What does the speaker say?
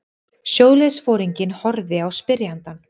Sjóliðsforinginn horfði á spyrjandann.